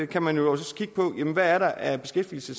kan man jo også kigge på hvad er der af beskæftigelse